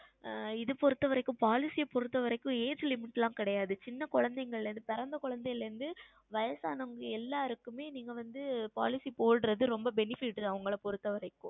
ஆஹ் இது பொருத்த வரைக்கும் Policy பொருத்த வரைக்கும் Age Limit எல்லாம் கிடையாது சிறிய குழந்தைகளில் இருந்து பிறந்த குழந்தைகளில் இருந்து வயதானவர்கள் எல்லாருக்குமே நீங்கள் வந்து Policy போடுவது ரொம்ப benefit தான் உங்களை பொருத்தவரைக்கும்